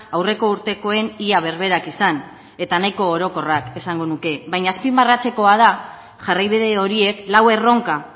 aurreko urtekoen ia berberak izan eta nahiko orokorrak esango nuke baina azpimarratzekoa da jarraibide horiek lau erronka